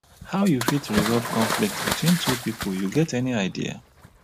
how you fit resolve conflict between two people you get any idea?